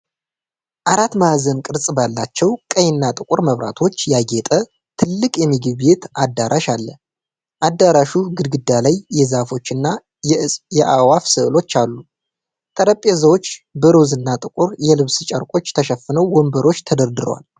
አራት ማዕዘን ቅርፅ ባላቸው ቀይ እና ጥቁር መብራቶች ያጌጠ ትልቅ የምግብ ቤት አዳራሽ አለ። አዳራሹ ግድግዳ ላይ የዛፎች እና የአእዋፍ ስዕሎች አሉ። ጠረጴዛዎች በሮዝና ጥቁር የልብስ ጨርቆች ተሸፍነው ወንበሮች ተደርድረዋል።